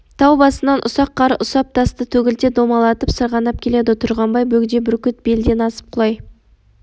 тау басынан ұсақ қар ұсақ тасты төгілте домалатып сырғанап келеді тұрғанбай бөгде бүркіт белден асып құлай